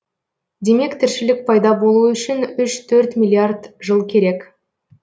демек тіршілік пайда болуы үшін миллиард жыл керек